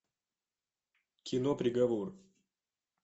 кино приговор